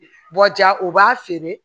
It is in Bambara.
Bɔ ja o b'a feere